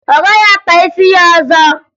Ọ gaghị akpa isi ya ọzọ